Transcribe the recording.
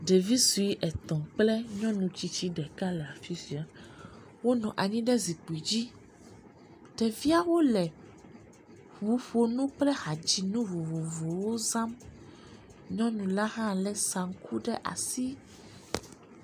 Ɖevi sɔe etɔ kple nyɔnu tsitsiwo le afisia. Wonɔ anyi ɖe zikpui dzi. Ɖeviawo le ʋuƒonu kple hadzinu vovovowo wò zam. Nyɔnu la hã le saŋku ɖe si.